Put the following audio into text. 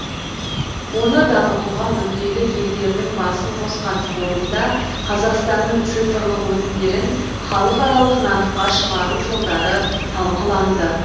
оны дамытуға мүдделі елдердің басын қосқан форумда қазақстанның цифрлық өнімдерін халықаралық нарыққа шығару жолдары талқыланды